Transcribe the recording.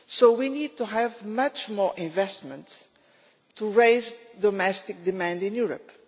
We need to have much more investment to raise domestic demand in Europe.